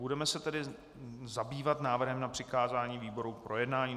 Budeme se tedy zabývat návrhem na přikázání výborům k projednání.